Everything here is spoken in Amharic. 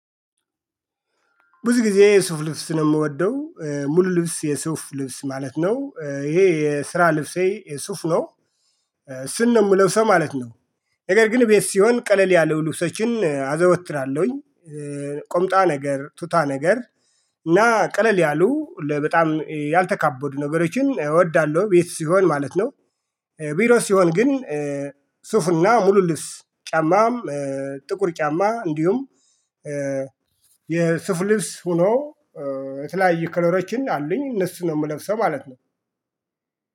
ብዙ ጊዜ የሱፍ ልብስ ነው የምወደው ሙሉ ልብስ የሱፍ ልብስ ማለት ነው ይሄ የስራ ልብሴ የሱፍ ነው እስን ነው የምለው ሰው ማለት ነው። ነገር ግን ቤት ሲሆን ቀለል ያለው ልብሶችን አዘወትላለሁኝ። ቁምጣ ነገር ቱታ ነገር እና ቀለል ያሉ በጣም ያልተካበዱ ነገሮችን እወዳለሁ ቤት ሲሆን ማለት ነው። ቢሮ ሲሆን ግን ሱፍና ሙሉልብስ ጫማ። ጥቁር ጫማ እንዲሁም። የሱፍ ልብስ ሆኖ የተለያየ ከለሮችን አሉኝ እነሱን ነው የምለብሰው ማለት ነው።